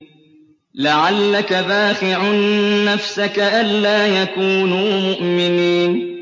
لَعَلَّكَ بَاخِعٌ نَّفْسَكَ أَلَّا يَكُونُوا مُؤْمِنِينَ